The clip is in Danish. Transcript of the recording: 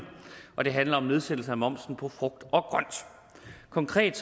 og det handler om nedsættelse af momsen på frugt og grønt konkret